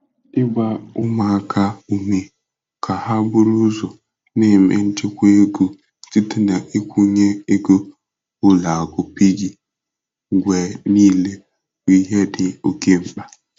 Ịgba ụmụaka ume ka ha buru ụzọ n'eme nchekwa ego site na nkwụnye ego ụlọakụ piggy mgbe niile bụ ihe dị oke mkpa.